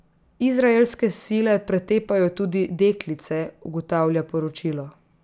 Izraelske sile pretepajo tudi deklice, ugotavlja poročilo.